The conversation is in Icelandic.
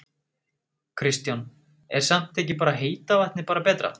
Kristján: Er samt ekki bara heita vatnið bara betra?